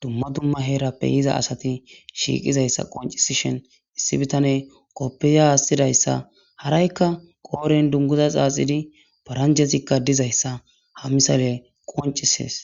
dumma dumma heerappe yiza asati shiiqizayssa qoncisishen issi bitane qoppiya aassidayssa haraykka qooren dunguza xaaxidi paranjezikka dizayssa ha misale qoncisees